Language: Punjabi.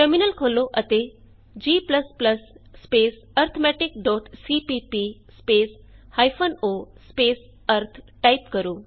ਟਰਮਿਨਲ ਖੋਲ੍ਹੋ ਅਤੇ g arithmeticਸੀਪੀਪੀ o ਅਰਿਥ ਟਾਈਪ ਕਰੋ